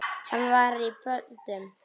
Hann var í böndum.